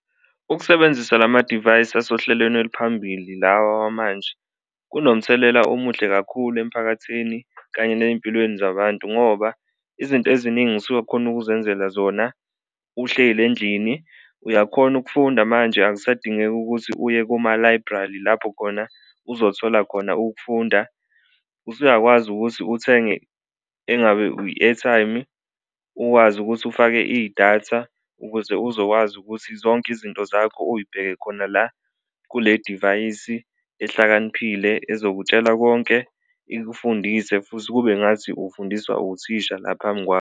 Ukusebenzisa la madivayisi asohlelweni oluphambili lawa amanje kunomthelela omuhle kakhulu emphakathini kanye ney'mpilweni zabantu ngoba izinto eziningi usuwakhona ukuzenzela zona uhleli endlini, uyakhona ukufunda manje akusadingeki ukuthi uye koma-library lapho khona uzothola khona ukufunda. Usuyakwazi ukuthi uthenge engabe i-airtime-i, ukwazi ukuthi ufake idatha ukuze uzokwazi ukuthi zonke izinto zakho uyibheke khona la kule divayisi ehlakaniphile ezokutshela konke, ikufundise futhi kube ngathi ufundiswa uthisha la phambi kwakho.